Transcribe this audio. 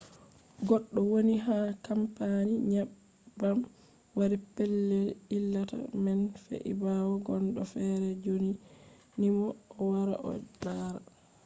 goɗɗo woni ha kampani nyebbam wari pellel ilata man fe’i ɓawo gondo fere ɗyonimo o wara o lara